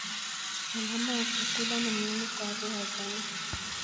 Usalama wa chakula ni muhimu kwa afya ya jamii.